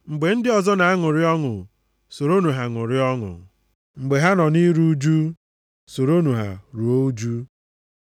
Mgbe ndị ọzọ na-aṅụrị ọṅụ, soronụ ha ṅụrịa ọṅụ. Mgbe ha nọ nʼiru ụjụ, soronụ ha ruo ụjụ.